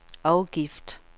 afgift